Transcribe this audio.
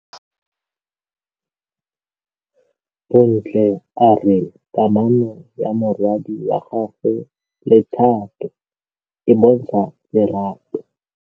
Bontle a re kamanô ya morwadi wa gagwe le Thato e bontsha lerato.